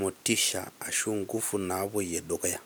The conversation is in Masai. motisha ashu nkufu napoyie dukuya.